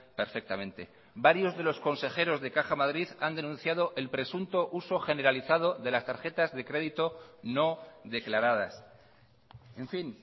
perfectamente varios de los consejeros de caja madrid han denunciado el presunto uso generalizado de las tarjetas de crédito no declaradas en fin